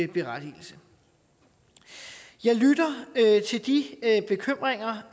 berettigelse jeg lytter til de bekymringer